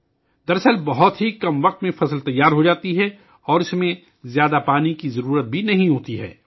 دراصل، فصل بہت کم وقت میں تیار ہو جاتی ہے اور اسے زیادہ پانی کی ضرورت بھی نہیں ہوتی